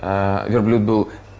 верблюд был